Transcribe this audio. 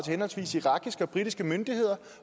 henholdsvis irakiske og britiske myndigheder